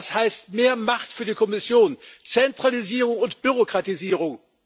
Das heißt mehr Macht für die Kommission, Zentralisierung und Bürokratisierung.